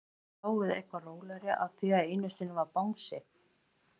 Get ég dáið eitthvað rólegri af því einu sinni var bangsi?